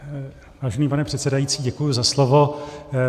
Vážený pane předsedající, děkuji za slovo.